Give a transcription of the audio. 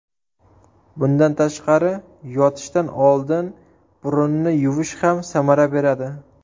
Bundan tashqari, yotishdan oldin burunni yuvish ham samara beradi.